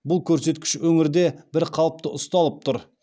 бұл көрсеткіш өңірде бір қалыпты ұсталып тұр